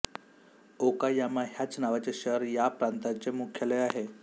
Okayama ह्याच नावाचे शहर ह्या प्रांताचे मुख्यालय आहे